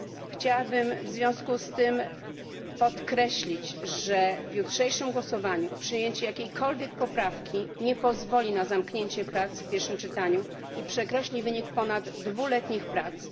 Chciałabym w związku z tym podkreślić, że w jutrzejszym głosowaniu przyjęcie jakiejkolwiek poprawki nie pozwoli na zamknięcie prac w pierwszym czytaniu i przekreśli ponad dwuletnich prac.